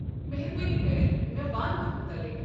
مہربٲنی كرِتھ مےٚ ون اتھ متعلق۔